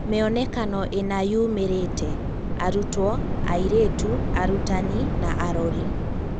Mĩonekano ĩna yumĩrĩte: Arutwo, Airĩtu, Arutani na arori